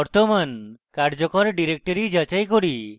এখন বর্তমান কার্যকর directory যাচাই করি